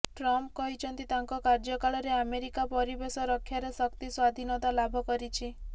Trump କହିଛନ୍ତି ତାଙ୍କ କାର୍ଯ୍ୟକାଳରେ ଆମେରିକା ପରିବେଶ ରକ୍ଷାରେ ଶକ୍ତି ସ୍ବାଧିନତା ଲାଭ କରିଛି